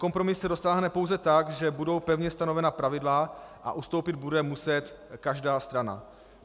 Kompromisu se dosáhne pouze tak, že budou pevně stanovena pravidla a ustoupit bude muset každá strana.